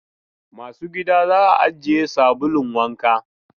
Masu gida za a ajiye sabulun wanka.